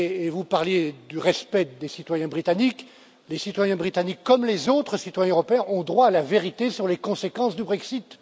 Vous parliez du respect des citoyens britanniques les citoyens britanniques comme les autres citoyens européens ont droit à la vérité sur les conséquences du Brexit.